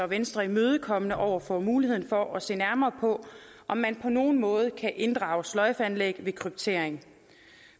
venstre imødekommende over for muligheden for at se nærmere på om man på nogen måde kan inddrage sløjfeanlæg ved kryptering